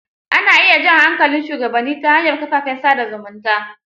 Ana iya jan hankalin shugabanni ta hanyar kafafen sa da zumunta.